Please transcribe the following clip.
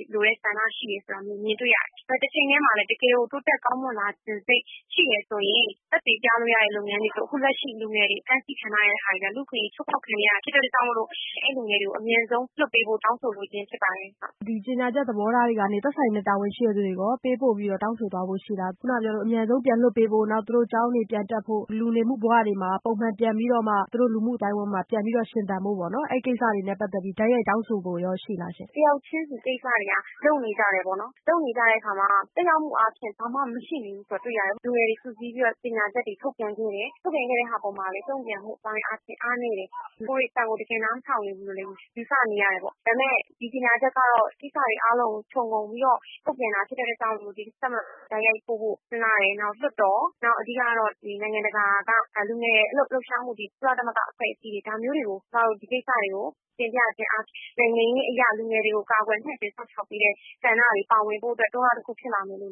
င်တဲ့ ဆန္ဒရှိကြောင်းလည်း မြင်တွေ့ရတယ်။ တချိန်တည်းမှာလည်း တကယ်ကို တိုးတက်ကောင်းမွန်လိုချင်စိတ် ရှိတယ်ဆိုရင် သက်သေပြလို့ရမယ့်လုပ်ငန်းတွေဆိုရင် အခုလက်ရှိ လူငယ်တွေ အဖမ်းအဆီးခံထားရတာတွေက လူ့အခွင့်အရေးချိုးဖောက်ခံရတာဖြစ်တဲ့အတွက်ကြောင့်မို့လို့ အဲဒီလူငယ်တွေကို အမြန်ဆုံး လွှတ်ပေးဖို့ တောင်းဆို လိုချင်းဖြစ်ပါတယ်။ ဒီကြေညာချက်သဘောထားတွေကနေ သက်ဆိုင်တဲ့ တာဝန်ရှိတဲ့လူတွေကိုရော ပေးပို့ ပြီးတော့ တောင်းဆိုသွားဖို့ ရှိသလား။ ခုနပြောသလို အမြန်ဆုံးပြန်လွှတ်ပေးဖို့ သူတို့ ကျောင်းတွေပြန်တက်ဖို့ လူနေမှုဘဝတွေမှာ ပုံမုန်ပြန်ပြီးတော့ ၊ သူတို့ လူမှုအသိုင်းအဝိုင်းတွေမှာ ပြန်ပြီးတော့ ရှင်သန်ဖို့ပေါ့ အဲဒီကိစ္စတွေနဲ့ ပတ်သက်ပြီးတော့ တိုက်ရိုက်တောင်းဆိုဖို့ ရှိပါသလားရှင့်။ တယောက်ချင်းစီ ကိစ္စတွေက လုပ်နေကြတယ်ပေါ့နော်။ လုပ်နေကြတဲ့အခါမှာ သက်ရောက်မှုအားဖြင့်တေ့ာဘာမှ မရှိနေဘူးဆိုတာတွေ့ရတယ်။ လူငယ်တွေ စုစည်းပြီးတော့ ကြေညာချက်တွေထုတ်ပြန်ခဲ့တယ်။ ထုတ်ပြန်ခဲ့တဲ့အပေါ်မှာလည်း တုံ့ပြန်မှု အားနည်းတယ်။ လူငယ်တွေအသံကိုလည်း တကယ်နားမထောင်ဘူးလို့လည်း ယူဆနေရတယ်ပေါ့နော်။ ဒါပေမယ့် ဒီကြေညာချက်ကတော့ ကိစ္စတွေအားလုံးကို ခြုံငုံပြီးတော့ ထုတ်ပြန်တာဖြစ်တဲ့အတွက်ကြောင့်မို့လို့ အစိုးရ ၊ တပ်မတော်ကိုလည်း တိုက်ရိုက်ပို့ဖို့ စဉ်းစားတယ်။ နောက် လွှတ်တော် ၊ နောက် အဓိကတော့ နိုင်ငံတကာက လူငယ်တွေ လှုပ်ရှားမှုတွေ ကုလသမဂ္ဂ အဖွဲ့အစည်းတွေဒါမျိုးတွေကို ကျမတို့ ဒီကိစ္စကို တင်ပြခြင်းအားဖြင့် လူငယ်တွေကို နိုင်ငံရေးအရ ကာကွယ်မြင့်တင်စောင့်ရှောက်ပေးတဲ့ ဆန္ဒတွေ ပါဝင်ဖို့အတွက် တွန်းအားတခုဖြစ်လာမယ်လို့